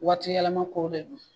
Waati yɛlɛma kow de don